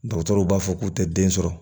Dɔgɔtɔrɔw b'a fɔ k'u tɛ den sɔrɔ